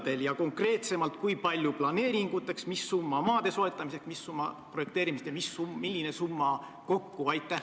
Ja öelge konkreetsemalt, kui palju raha on ette nähtud planeeringuteks, kui palju maade soetamiseks ja kui palju projekteerimiseks ning milline on kogusumma.